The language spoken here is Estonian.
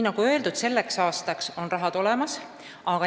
Nagu öeldud, selleks aastaks on raha olemas.